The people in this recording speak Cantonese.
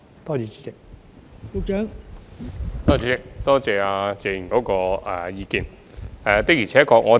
代理主席，多謝謝議員的意見。